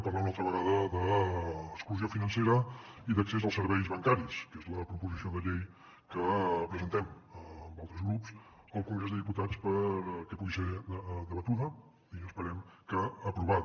parlarem una altra vegada d’exclusió financera i d’accés als serveis bancaris que és la proposició de llei que presentem amb altres grups al congrés dels diputats perquè pugui ser debatuda i esperem que aprovada